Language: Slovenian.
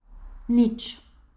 Nič.